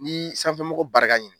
N'i y'i sanfɛmɔgɔ barika ɲini